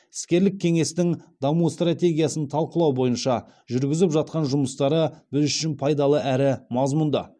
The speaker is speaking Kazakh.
іскерлік кеңестің даму стратегиясын талқылау бойынша жүргізіп жатқан жұмыстары біз үшін пайдалы әрі мазмұнды